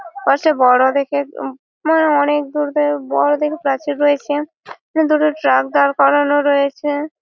পাশে বড় দেখে উ মা অনেক দূর থেকে বড় দেখে প্রাচীর রয়েছে। দুটো ট্রাক দাঁড় করানো রয়েছে